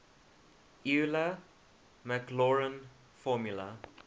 euler maclaurin formula